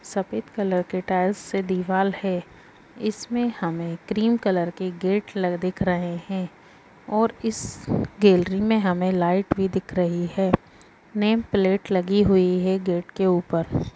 सफेद कलर के टाइल्स की दीवाल है इसमे हमे क्रीम कलर की गेट दिख रही है और इस गैलरी मे हमे लाइट भी दिख रही है नेम प्लेट लगी हुई है गेट के ऊपर ।